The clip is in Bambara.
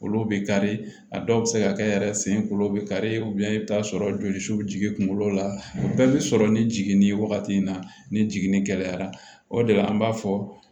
Kolo bɛ kari a dɔw bɛ se ka kɛ yɛrɛ sen kulo bɛ kari i bɛ taa sɔrɔ jolisiw bɛ jigin kunkolo la bɛɛ bɛ sɔrɔ ni jiginni ye wagati min na ni jiginni gɛlɛyara o de la an b'a fɔ